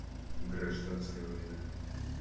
гражданская война